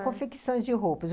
É confecção de roupas.